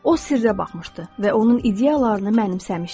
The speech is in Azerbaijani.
O sirrə baxmışdı və onun ideyalarını mənimsəmişdi.